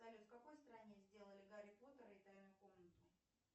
салют в какой стране сделали гарри поттера и тайную комнату